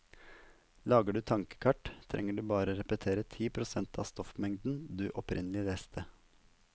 Lager du tankekart, trenger du bare repetere ti prosent av stoffmengden du opprinnelig leste.